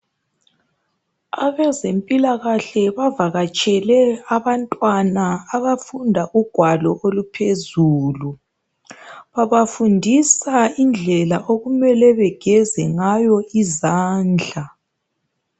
Abezempilakahle bavakatshele abantwana abafunda ugwalo oluphezulu. Babafundisa indlela okumele begeze ngayo izandla.